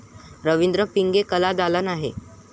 रवींद्र पिंगे कलादालन आहे.